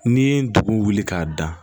N'i ye dugu wuli k'a dan